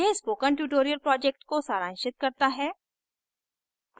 यह spoken tutorial project को सारांशित करता है